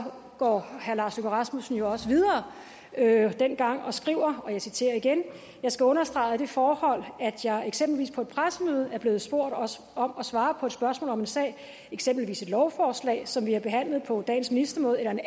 går herre lars løkke rasmussen også videre dengang og skriver og jeg citerer igen jeg skal understrege at det forhold at jeg eksempelvis på et pressemøde bliver spurgt om og svarer på et spørgsmål om en sag eksempelvis et lovforslag som vi har behandlet på dagens ministermøde eller en